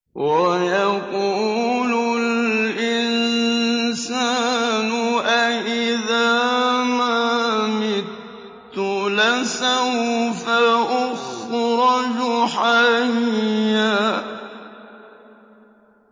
وَيَقُولُ الْإِنسَانُ أَإِذَا مَا مِتُّ لَسَوْفَ أُخْرَجُ حَيًّا